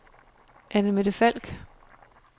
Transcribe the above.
Anne-Mette Falk